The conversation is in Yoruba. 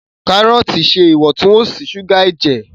Karọọti ṣe Iwontun-wonsi suga ẹjẹ.